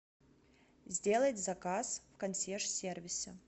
сделать заказ в консьерж сервисе